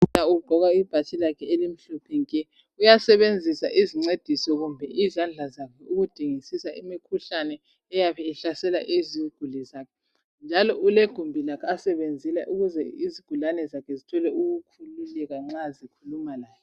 Udokotela ugqoka ibhatshi elimhlophe nke, uyasebenzisa izincediso kumbe izandla zakhe ukudingisisa imikhuhlane eyabe ihlasela iziguli zakhe njalo ulegumbi lakhe asebenzela ukuze izigulane zakhe zithole ukukhululeka nxa zikhuluma laye